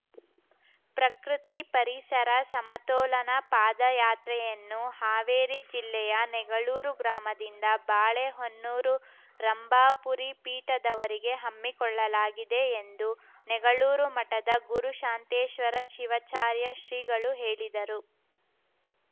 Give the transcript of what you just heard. ಪ್ರಕೃತಿಪರಿಸರ ಸಮತೋಲನ ಪಾದಯಾತ್ರೆಯನ್ನು ಹಾವೇರಿ ಜಿಲ್ಲೆಯ ನೆಗಳೂರು ಗ್ರಾಮದಿಂದ ಬಾಳೆಹೊನ್ನೂರು ರಂಭಾಪುರಿ ಪೀಠದವರೆಗೆ ಹಮ್ಮಿಕೊಳ್ಳಲಾಗಿದೆ ಎಂದು ನೆಗಳೂರು ಮಠದ ಗುರುಶಾಂತೇಶ್ವರ ಶಿವಾಚಾರ್ಯ ಶ್ರೀಗಳು ಹೇಳಿದರು